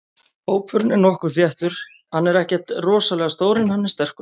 Hópurinn er nokkuð þéttur, hann er ekkert rosalega stór en hann er sterkur.